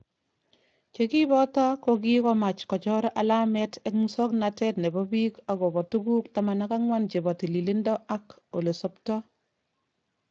Chekiboto kokikomach kochor alamet eng musoknotet nebo bik okobo tuguk 14 chebo tililido ak elesobto.